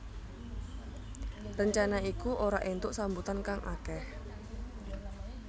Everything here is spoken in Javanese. Rencana iku ora entuk sambutan kang akeh